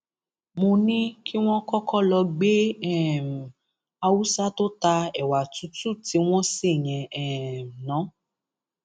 mo ní kí wọn kọkọ lọọ gbé um haúsá tó ta ẹwà tútù tí wọn ṣe yẹn um ná